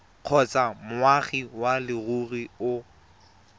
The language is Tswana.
kgotsa moagi wa leruri o